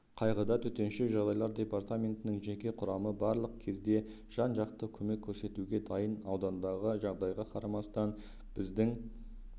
қайғыда төтенше жағдайлар департаментінің жеке құрамы барлық кезде жан-жақты көмек көрсетуге дайын аудандағы жағдайға қарамастан сіздің